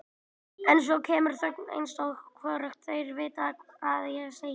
En svo kemur þögn eins og hvorugt þeirra viti hvað eigi að segja.